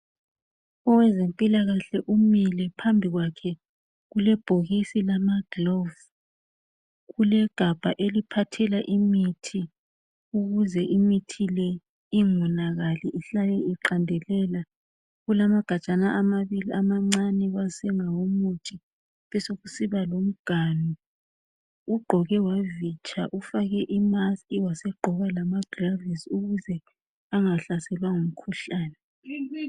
Owezempilakahle umile phambi kwakhe esilamagilovisi kulegabha eliphathela imithi ukuze imithi le ingonakali ihlale iqandelela. Kulalmagajana amabili amancane asengawomuthi besokusiba lomganu ugqoke wavitsha ufake amagilavisi ukuze angahlaselwa ngumkhuhlane.